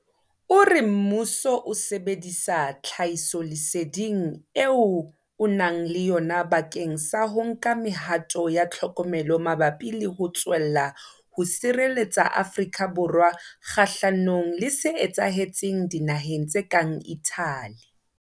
O re mmuso o sebedisa tlhahisoleseding eo o nang le yona bakeng sa ho nka mehato ya tlhokomelo mabapi le ho tswella ho sireletsa Afrika Borwa kgahlanong le se etsahetseng dinaheng tse kang Italy.